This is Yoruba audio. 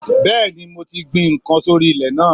Bẹ́ẹ̀ni mo ti gbin n kan sórí ilè náà